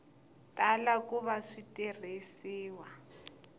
tala ku va swi tirhisiwa